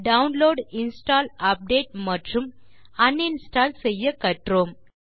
download install update மற்றும் un install செய்ய கற்றோம்